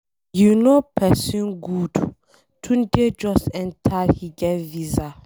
Yo know person good, Tunde just enter he get visa.